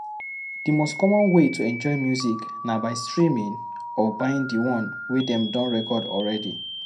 Di most common way to enjoy music na by streaming or buying di one wey dem don record already